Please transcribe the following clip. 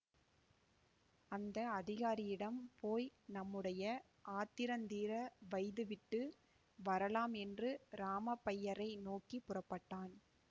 அந்த அதிகாரியிடம் போய் நம்முடைய ஆத்திரந்தீர வைதுவிட்டு வரலாம் என்று ராமப்பையரை நோக்கி புறப்பட்டான்